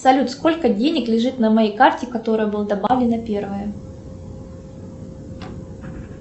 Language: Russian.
салют сколько денег лежит на моей карте которая была добавлена первая